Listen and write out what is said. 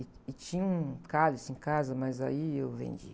E tinha um cálice em casa, mas aí eu vendi.